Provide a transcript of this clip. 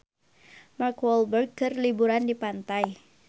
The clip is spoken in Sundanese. Mark Walberg keur liburan di pantai